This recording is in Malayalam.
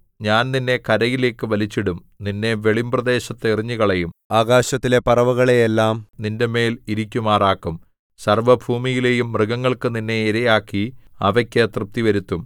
ഞാൻ നിന്നെ കരയിലേക്ക് വലിച്ചിടും നിന്നെ വെളിമ്പ്രദേശത്ത് എറിഞ്ഞുകളയും ആകാശത്തിലെ പറവകളെയെല്ലാം നിന്റെമേൽ ഇരിക്കുമാറാക്കും സർവ്വഭൂമിയിലെയും മൃഗങ്ങൾക്ക് നിന്നെ ഇരയാക്കി അവയ്ക്ക് തൃപ്തി വരുത്തും